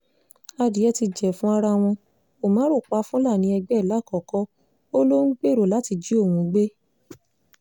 adìẹ́ ti jẹ̀fun ara wọn umar pa fúlàní ẹgbẹ́ ẹ̀ làkọ́kọ́ ó lọ ń gbèrò láti jí òun gbé